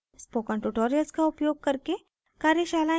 spoken tutorials का उपयोग करके कार्यशालाएं चलाती है